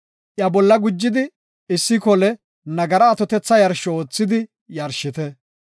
Iya bolla gujidi issi kole nagara atothetha yarsho oothidi yarshite.